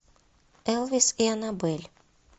элвис и анабелль